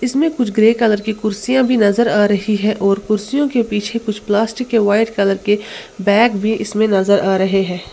इसमें कुछ grey colour की कुर्सियां भी नजर आ रही है और कुर्सियों के पीछे कुछ प्लास्टिक के व्हाइट कलर के बैग भी इसमें नजर आ रहे हैं।